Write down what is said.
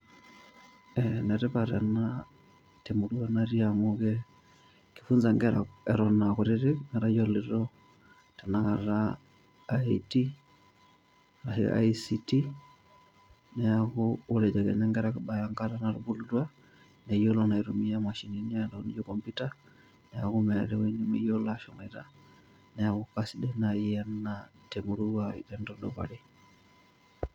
Enetipat ena, temurua natii amu ke, kifunsa nkera eton akutitik, metayioloito tanakata IT, ashu ICT, neeku ore ejo kenya nkera kibaya enkata natubulutua, neyiolo naa aitumia imashinini naijo computer, neeku neeta ewoi nemeyiolo ashomoita. Neeku kasidai nai enaa, temurua tenitudupari.